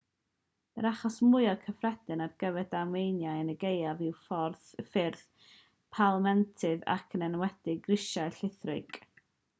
yr achos mwyaf cyffredin ar gyfer damweiniau yn y gaeaf yw ffyrdd palmentydd ac yn enwedig grisiau llithrig